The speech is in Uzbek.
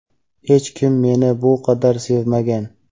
Hech kim meni bu qadar sevmagan.